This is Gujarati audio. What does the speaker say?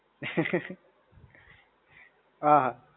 હા હા.